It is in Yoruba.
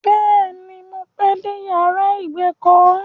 Bẹ́ẹ̀ ni, mo pẹ́ dé yàrá ìgbèkọ́.